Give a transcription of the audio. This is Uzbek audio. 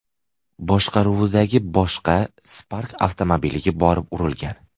boshqaruvidagi boshqa Spark avtomobiliga borib urilgan.